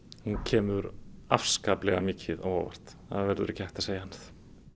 hún kemur afskaplega mikið á óvart það verður ekki hægt að segja annað